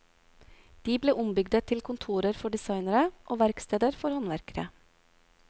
De ble ombygde til kontorer for designere og verksteder for håndverkere.